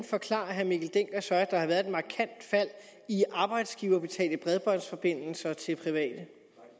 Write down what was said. forklarer herre mikkel dencker så at der har været et markant fald i arbejdsgiverbetalte bredbåndsforbindelser til private